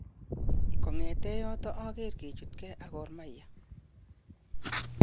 Ko'ngeten yoton oker kechutge ak Gor Mahia.